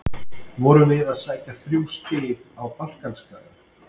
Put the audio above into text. Vorum við að sækja þrjú stig á Balkanskagann?